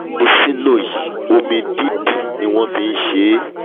frapuccinno yìí omi-dídì ni wọ́n fi wọ́n fi nṣe é